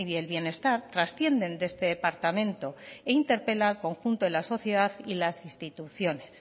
el bienestar trascienden de este departamento e interpela al conjunto de la sociedad y las instituciones